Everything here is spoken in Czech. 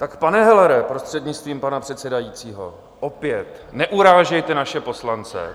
Tak, pane Hellere, prostřednictvím pana předsedajícího, opět: Neurážejte naše poslance!